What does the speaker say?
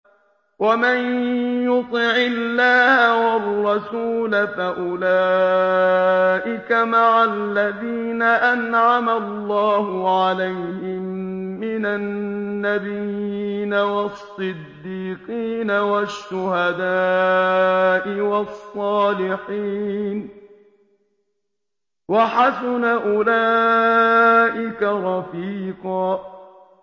وَمَن يُطِعِ اللَّهَ وَالرَّسُولَ فَأُولَٰئِكَ مَعَ الَّذِينَ أَنْعَمَ اللَّهُ عَلَيْهِم مِّنَ النَّبِيِّينَ وَالصِّدِّيقِينَ وَالشُّهَدَاءِ وَالصَّالِحِينَ ۚ وَحَسُنَ أُولَٰئِكَ رَفِيقًا